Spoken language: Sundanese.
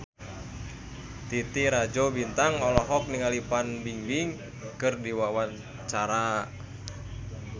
Titi Rajo Bintang olohok ningali Fan Bingbing keur diwawancara